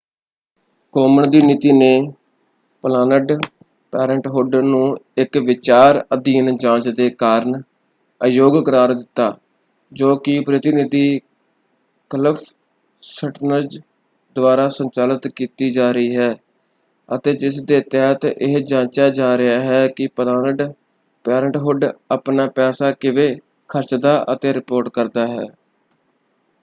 Common ਦੀ ਨੀਤੀ ਨੇ ਪਲਾਨਡ ਪੇਰੈਂਟਹੁੱਡ ਨੂੰ ਇੱਕ ਵਿਚਾਰ ਅਧੀਨ ਜਾਂਚ ਦੇ ਕਾਰਨ ਅਯੋਗ ਕਰਾਰ ਦਿੱਤਾ ਜੋ ਕਿ ਪ੍ਰਤੀਨਿਧੀ ਕਲਿਫ਼ ਸਟਰਨਜ਼ ਦੁਆਰਾ ਸੰਚਾਲਿਤ ਕੀਤੀ ਜਾ ਰਹੀ ਹੈ ਅਤੇ ਜਿਸ ਦੇ ਤਹਿਤ ਇਹ ਜਾਂਚਿਆ ਜਾ ਰਿਹਾ ਹੈ ਕਿ ਪਲਾਨਡ ਪੇਰੈਂਟਹੁੱਡ ਆਪਣਾ ਪੈਸਾ ਕਿਵੇਂ ਖਰਚਦਾ ਅਤੇ ਰਿਪੋਰਟ ਕਰਦਾ ਹੈ।